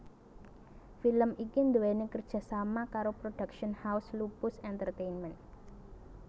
Film iki nduweni kerjasama karo Production House Lupus Entertainment